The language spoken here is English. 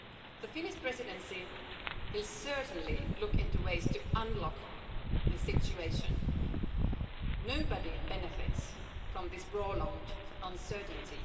law. The Finnish Presidency will certainly look into ways to unlock the situation. Nobody benefits from this prolonged uncertainty.